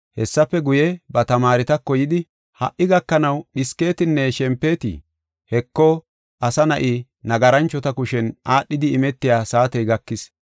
Hessafe guye, ba tamaaretako yidi, “Ha77i gakanaw dhisketinne shempetii? Heko, Asa Na7i, nagaranchota kushen aadhidi imetiya saatey gakis.